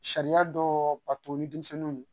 Sariya dɔ bato ni denmisɛnninw ye